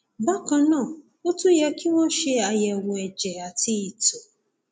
bákan náà ó tún yẹ kí wọn ṣe àyẹwò ẹjẹ àti ìtọ